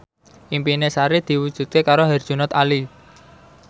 impine Sari diwujudke karo Herjunot Ali